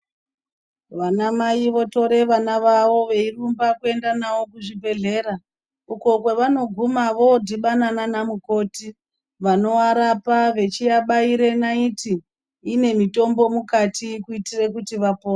Vana mai votore vana vavo veirumba kuenda navo kuzvibhehleya uko kwevanoguma vodhibana nanamukoti vanovarapa veciabaire naiti inemutombo mukati kuitire kuti vapore.